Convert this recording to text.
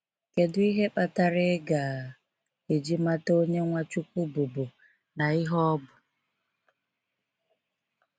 Kedụ ihe kpatara iga eji mata Onye Nwachukwu bụbu na ihe ọ bụ.